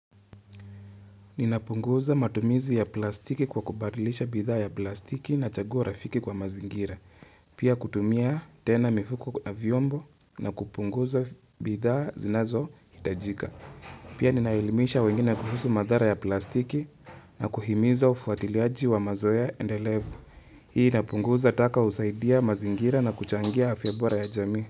Ninapunguza matumizi ya plastiki kwa kubadilisha bidhaa ya plastiki na chagua rafiki kwa mazingira. Pia kutumia tena mifuko na vyombo na kupunguza bidhaa zinazohitajika. Pia ninaelimisha wengine kuhusu madhara ya plastiki na kuhimiza ufuatiliaji wa mazoea endelevu. Hii inapunguza taka husaidia mazingira na kuchangia afya bora ya jamii.